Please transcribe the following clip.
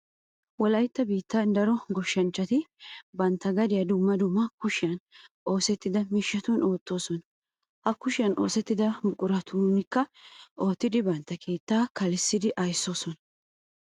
Wolaytta biittan daro goshshanchchati bantta gadiya dumma dumma kushiyan oosettida miishshatun oottoosona. Ha kushiyan oosettida buquratunkka oottidi bantta keettaa kalissidi ayssoosona.